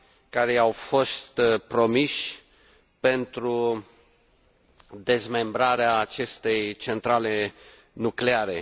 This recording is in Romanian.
care i au fost promiși pentru dezmembrarea acestei centrale nucleare.